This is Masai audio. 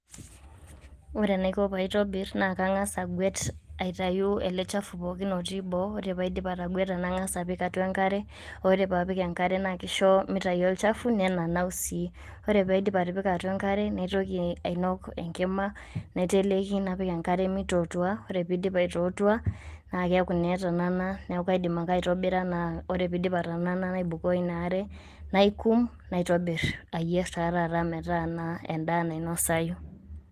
Ore enaiko paitobir naa kang'as agwet, aitayu ele chafu pookin otii boo, ore paidip ategweta, nang'as napik atua enkare, ore paa apik enkare naa keisho meitayu olchafu nenanau sii. Ore paidip atipika atua enkare, naitoki ainok enkima naiteleki napik enkare meitutua, ore peidip aitutua naa keaku naa etanana neaku aidim ake aitobira naa ore peidip atanana, naibukoo ina are, naikum naitobir ayer taa taata metaa endaa nainosayu.